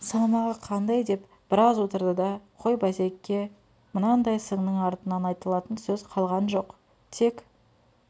салмағы қандай деп біраз отырды да қой базеке мынандай сынның артынан айтылатын сөз қалған жоқ тек